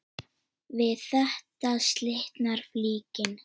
Við þetta slitnar flíkin.